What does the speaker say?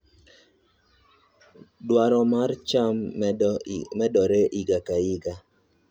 Dwaro mar cham medore higa ka higa.